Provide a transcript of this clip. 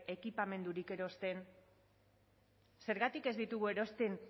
ekipamendurik erosten zergatik ez ditugu erosten